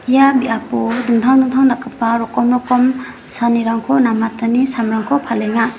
ia biapo dingtang dingtang dakgipa rokom rokom saanirangko namatani samrangko palenga.